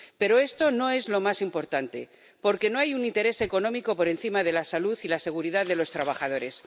Pero esto no es lo más importante, porque no hay un interés económico por encima de la salud y la seguridad de los trabajadores.